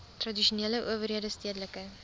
tradisionele owerhede stedelike